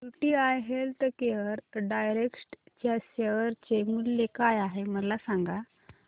UTI healthcare direct च्या share चे मूल्य काय आहे मला सांगा